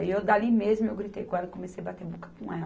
Aí eu dali mesmo, eu gritei com ela e comecei a bater boca com ela.